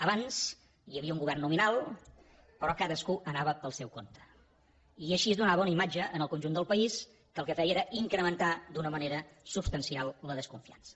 abans hi havia un govern nominal però cadascú anava pel seu compte i així es donava una imatge al conjunt del país que el que feia era incrementar d’una manera substancial la desconfiança